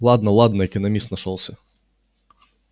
ладно ладно экономист нашёлся